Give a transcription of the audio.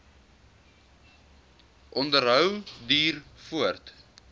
onderhou duur voort